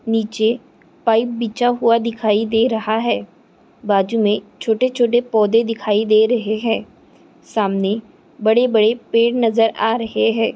नीचे पाइप बिछा हुआ दिखाई दे रहा है बाजू मे छोटे-छोटे पौधे दिखाई दे रहे है सामने बड़े-बड़े पेड़ नज़र आ रहे है।